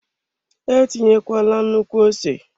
Etinyekwala nnukwu ose!